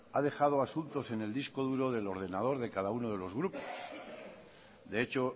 ha dejado asuntos en el disco duro del ordenador de cada uno de los grupos de hecho